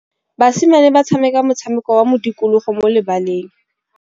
Basimane ba tshameka motshameko wa modikologô mo lebaleng.